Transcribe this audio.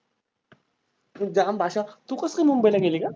तुझी जाम भाषा, तू कसं काय मुंबईला गेली गं?